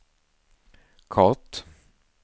kort